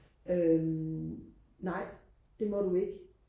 øhm nej det må du ikke